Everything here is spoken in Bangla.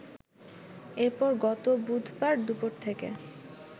এরপর গত বুধবার দুপুর থেকে